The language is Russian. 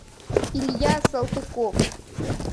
илья салтыков